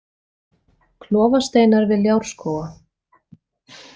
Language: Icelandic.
Klofasteinar við Ljárskóga